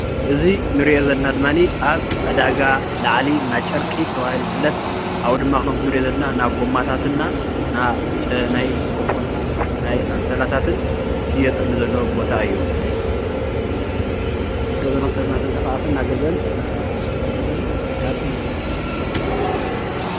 እዚ ንሪኦ ዘለና ድማኒ ኣብ ዕዳጋ ላዕሊ ናጨርቂ ተባሂሉ ዝፍለጥ ኣብኡ ድማ ከም ንሪኦ ዘለና ናብ ጎማታት እና ናይ ኮበርታ ናይ ኣንሶላታትን ዝሽየጠሉ ዘሎ ቦታ እዩ፡፡ ከምትሪኡዎ ሰብ እናተንቀሳቐሰ እናገዝአን እናዓደገን